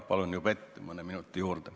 Palun juba ette mõne minuti juurde.